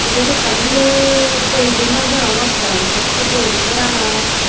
ibet ekkan biret building ghor degongotte the se building ghorano.